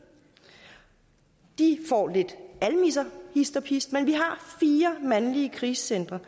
de får lidt almisser hist og pist men vi har fire krisecentre